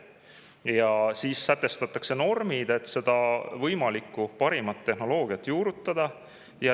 Ja siis sätestatakse normid, et seda parimat võimalikku tehnoloogiat juurutada.